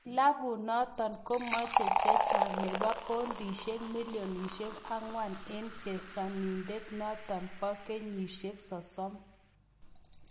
Klabut notok komache che chang nebo poundisiek millionsiek angwan eng chesanindet notok bo kenyisiek sosom.